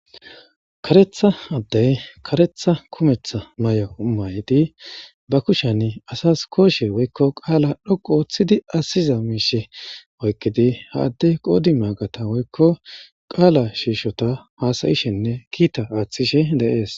Kareta adde karetaa kumeta ma'iya maydi ba kushan asas kooshe woykko qaalaa xoqqu oottidi asiza miishsha oykkidi ha adde qoodi maagata woykko qaala shiishota haasayishininne kiitaa attishsh deees.